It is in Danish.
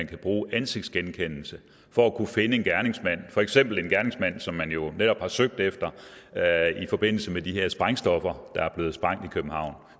kan bruge ansigtsgenkendelse for at kunne finde en gerningsmand for eksempel en gerningsmand som man jo netop har søgt efter i forbindelse med de her sprængstoffer der er blevet sprængt i københavn